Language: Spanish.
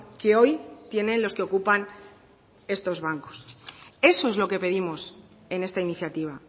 que hoy tienen los que ocupan estos bancos eso es lo que pedimos en esta iniciativa